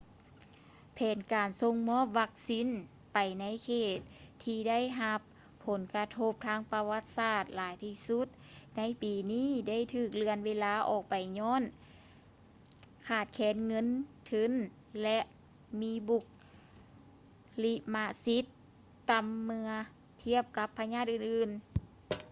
ແຜນການສົ່ງມອບວັກຊີນໄປໃນເຂດທີ່ໄດ້ຮັບຜົນກະທົບທາງປະຫວັດສາດຫຼາຍທີ່ສຸດໃນປີນີ້ໄດ້ຖືກເລື່ອນເວລາອອກໄປຍ້ອນຂາດແຄນເງິນທຶນ ແລະ ມີບຸລິມະສິດຕໍ່າເມື່ອທຽບກັບພະຍາດອື່ນໆ